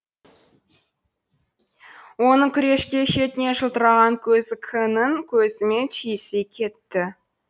оның күрешке шетінен жылтыраған көзі к нің көзімен түйісе кетті